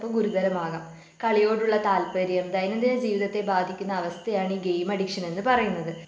ഗുരുതരമാകാം കളിയോടുള്ള താൽപര്യം ദൈനംദിന ജീവിതത്തെ ബാധിക്കുന്ന അവസ്ഥയാണ് ഈ ഗെയിം അഡിക്ഷൻ എന്ന് പറയുന്നത്.